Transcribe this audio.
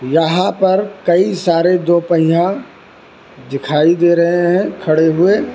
यहां पर कई सारे दो पहिया दिखाई दे रहे है खड़े हुए।